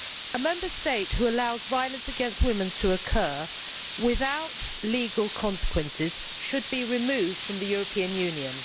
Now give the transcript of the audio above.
A Member State which allows violence against women to occur, without legal consequences, should be removed from the European Union.